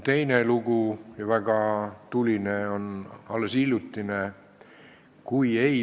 Teine ja väga tuline lugu juhtus alles hiljuti.